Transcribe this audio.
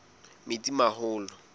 metsimaholo